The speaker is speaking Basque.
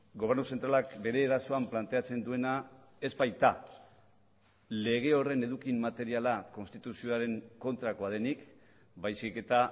gobernu zentralak bere erasoan planteatzen duena ez baita lege horren eduki materiala konstituzioaren kontrakoa denik baizik eta